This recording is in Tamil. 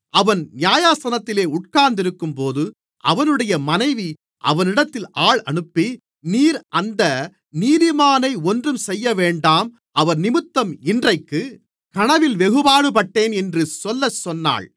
அவன் நியாயாசனத்தில் உட்கார்ந்திருக்கும்போது அவனுடைய மனைவி அவனிடத்தில் ஆள் அனுப்பி நீர் அந்த நீதிமானை ஒன்றும் செய்யவேண்டாம் அவர்நிமித்தம் இன்றைக்கு கனவில் வெகு பாடுபட்டேன் என்று சொல்லச் சொன்னாள்